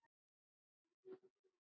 Linda: Fæst hann bara hér?